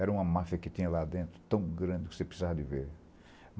Era uma máfia que tinha lá dentro, tão grande que você precisava de ver.